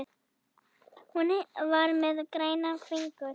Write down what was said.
Hún var með græna fingur.